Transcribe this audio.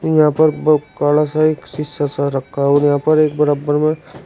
यहां पर बहुत काला सा एक शीशा सा रखा है और यहां पर एक बराबर में--